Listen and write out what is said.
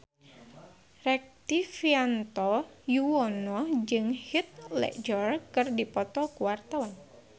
Rektivianto Yoewono jeung Heath Ledger keur dipoto ku wartawan